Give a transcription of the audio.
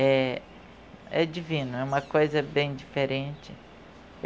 É, é divino, é uma coisa bem diferente.